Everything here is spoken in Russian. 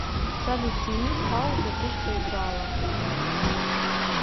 салют сними с паузы то что играло